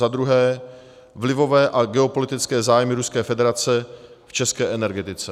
za druhé: vlivové a geopolitické zájmy Ruské federace v české energetice;